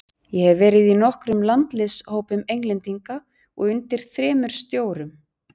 Ég hef verið í nokkrum landsliðshópum Englendinga og undir þremur stjórum.